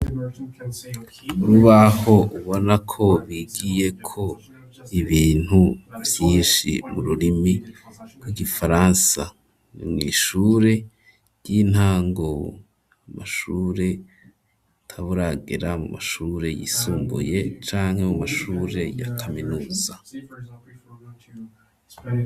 Urubaho ubonako bigiyeko ibintu vyinshi mu rurimi rw'igifaransa ishure ry'intango, ishure utababa uragera mu mashure yisumbuye canke mu mashure ya kaminuza.